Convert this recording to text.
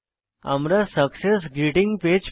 আমরা success greeting page পাই